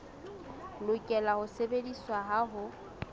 lokela ho sebediswa ha ho